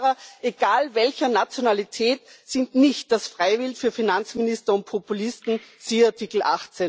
Autofahrer, egal welcher Nationalität, sind nicht das Freiwild für Finanzminister und Populisten siehe Artikel